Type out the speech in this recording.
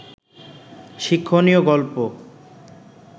শিক্ষণীয় গল্প